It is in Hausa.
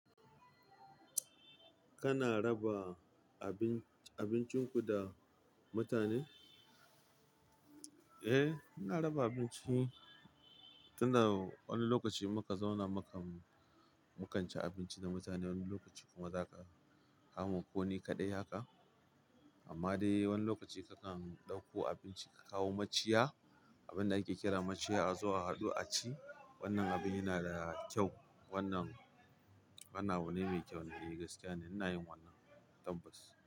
Kana raba abin abincin ku da mutane? Eh, ina raba abinci. Tun da wani lokaci muka zauna, mukan ci abinci da mutane. Wani lokaci kuma zaka kamo kuni kaɗai haka. Amma dai wani lokaci kakan ɗauko abinci ka kawo maciya, abin da ake kira maciya a zuwa a haɗu a ci. Wannan abin yana da kyau. Wannan abu ne mai kyau in dai gaskiya ne. Ina yin wannan tabbas.